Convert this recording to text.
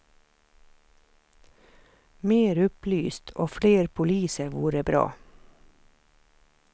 Mer upplyst och fler poliser vore bra.